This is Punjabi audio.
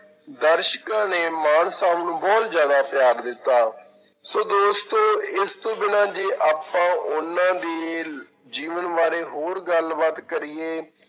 ਦਰਸ਼ਕਾਂ ਨੇ ਮਾਨ ਸਾਹਬ ਨੂੰ ਬਹੁਤ ਜ਼ਿਆਦਾ ਪਿਆਰ ਦਿੱਤਾ, ਸੋ ਦੋਸਤੋ ਇਸ ਤੋਂ ਬਿਨਾਂ ਜੇ ਆਪਾਂ ਉਹਨਾਂ ਦੀ ਜੀਵਨ ਬਾਰੇ ਹੋਰ ਗੱਲਬਾਤ ਕਰੀਏ,